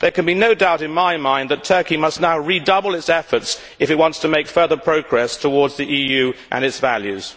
There can be no doubt in my mind that Turkey must now redouble its efforts if it wants to make further progress towards the EU and its values.